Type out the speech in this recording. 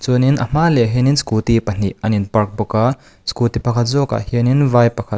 chuan in a hma lehah hianin scooty pahnih an in park bawk a scooty pakhat zawk ah hianin vai pakhat--